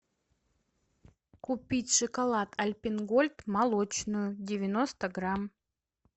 купить шоколад альпен гольд молочную девяносто грамм